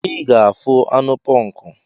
Ị ga-afụ anụ ponku!